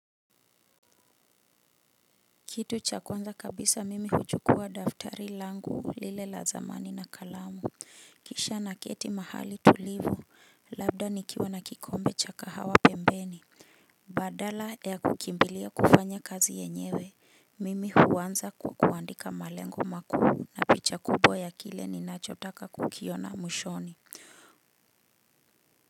Kitu cha kwanza kabisa mimi huchukuwa daftari langu lile la zamani na kalamu kisha naketi mahali tulivu labda nikiwa na kikombe cha kahawa pembeni. Badala ya kukimbilia kufanya kazi yenyewe mimi huanza kwa kuandika malengo makuu na picha kubwa ya kile ninachotaka kukiona mwishoni.